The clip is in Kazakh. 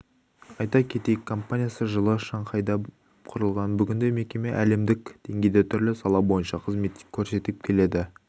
айта кетейік компаниясы жылы шанхайда құрылған бүгінде мекеме әлемдік деңгейде түрлі сала бойынша қызмет көрсетіп келеді